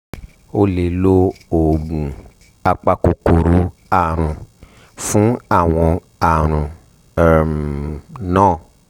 o lè lo oògùn apakòkòrò àrùn fún àwọn àrùn um náà